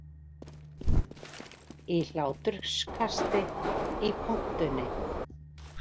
Í hláturskasti í pontunni